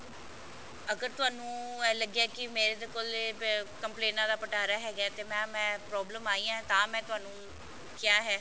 ਅਗਰ ਤੁਹਾਨੂੰ ਇਹ ਲੱਗਿਆ ਕਿ ਮੇਰੇ ਤੇ ਕੋਲੇ compliant ਦਾ ਪਿਟਾਰਾ ਹੈਗਾ ਤੇ mam ਮੈਂ problem ਆਈ ਹੈ ਤਾਂ ਮੈਂ ਤੁਹਾਨੂੰ ਕਿਹਾ ਹੈ